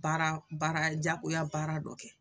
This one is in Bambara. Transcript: Baara baara jagoya baara dɔ kɛ